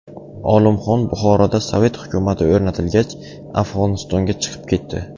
Olimxon Buxoroda sovet hukumati o‘rnatilgach, Afg‘onistonga chiqib ketdi.